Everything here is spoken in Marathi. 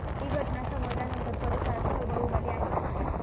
ही घटना समजल्यानंतर परिसरात खळबळ उडाली आहे.